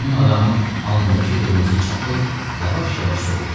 Meymun adamın alnındakı qırmızı çapıq yavaş-yavaş soldu.